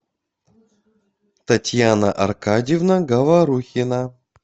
татьяна аркадьевна говорухина